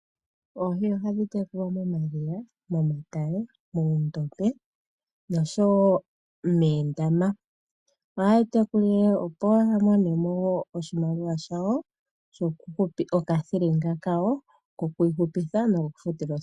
Oohi ohadhi tekulilwa moma dhiya, moondombe nosho woo moondama. Ohaye dhi tekula opo ya mone mo oshimaliwa shawo shoku hupa. Oka thilinga kawo koku ihupitha noko ku futa osikola.